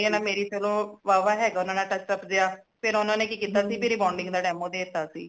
ਮੇਰੀ ਚਲੋ ਵਾਹ ਵਾਹ ਹੈਗਾ ਓਨਾ ਨਾਲ touch up ਜੀਆ ਫਿਰ ਓਨਾ ਨੇ ਕਿ ਕੀਤਾ ਭੀ rebounding ਦਾ demo ਦੇ ਤਾ ਸੀ